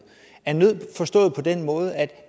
af nød forstået på den måde at